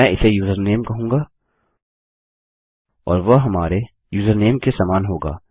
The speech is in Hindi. मैं इसे यूजरनेम कहूँगा और वह हमारे यूजरनेम के समान होगा